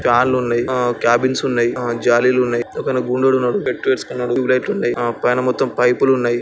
ఫ్యాన్లు ఉన్నాయ్ ఆ క్యాబిన్స్ ఉన్నయ్ అ జాలీలు ఉన్నయ్ ఒకైనా గుణోడున్నాడు బెట్టువేడిస్కున్నాడు ట్యూబ్ లైట్లున్నాయ్ అ పైన మొత్తం పైపులు ఉన్నాయి.